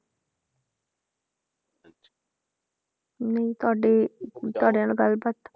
ਨਹੀਂ ਤੁਹਾਡੀ ਨਾਲ ਗੱਲ ਬਾਤ